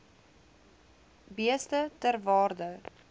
beeste ter waarde